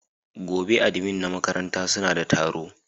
Gobe ​​admin na makaranta su na de taro